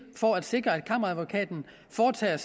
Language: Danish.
for at sikre at kammeradvokaten foretager